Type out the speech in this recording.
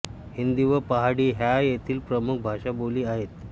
हिंदी व पहाडी ह्या येथील प्रमुख भाषाबोली आहेत